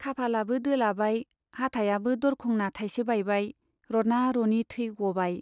खाफालाबो दोलाबाय, हाथायाबो दरखंना थाइसे बायबाय रना रनि थै गबाय।